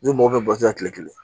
N'i mɔgɔ bɛ bɔ kile kelen